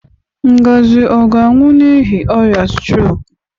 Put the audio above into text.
Ngozi ọ ga-anwụ n'ihi ọrịa strok?